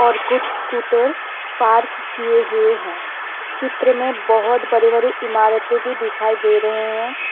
और कुछ scooter park किए हुए हैं चित्र में बहोत बड़ी बड़ी इमारतें भी दिखाई दे रहे हैं।